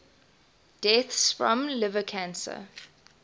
deaths from liver cancer